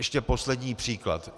Ještě poslední příklad.